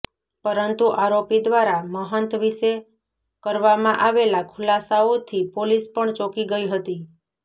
પરંતુ આરોપી દ્વારા મહંત વિશે કરવામાં આવેલા ખુલાસાઓથી પોલીસ પણ ચોંકી ગઈ હતી